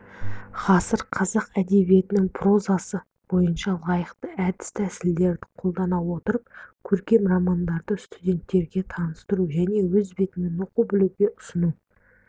ғасыр қазақ әдебиетінің прозасы бойынша лайықты әдіс-тәсілдерді қолдана отырып көркем романдарды студенттерге таныстыру және өз бетімен оқып-білуге ұсыну